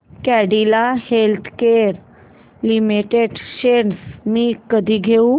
Cadila healthcare limited shares मी कधी घेऊ